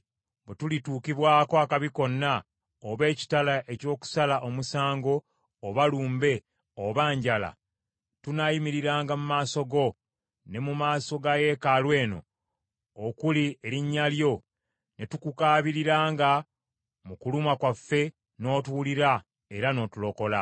‘Bwe tulituukibwako akabi konna, oba ekitala eky’okusala omusango, oba lumbe, oba njala, tunaayimiriranga mu maaso go, ne mu maaso ga yeekaalu eno okuli erinnya lyo, ne tukukaabiriranga mu kulumwa kwaffe n’otuwulira era n’otulokola.’